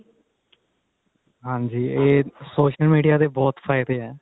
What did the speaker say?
ਹਾਂਜੀ ਇਹ social media ਦੇ ਬਹੁਤ ਫਾਇਦੇ ਏ